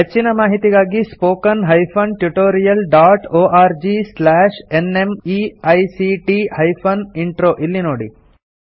ಹೆಚ್ಚಿನ ಮಾಹಿತಿಗಾಗಿ spoken hyphen tutorial dot org slash NMEICT hyphen intro ಇಲ್ಲಿ ನೋಡಿ